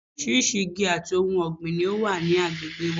Orísirísi igi àti ohun ọ̀gbìn ni ó wà ní agbègbè wa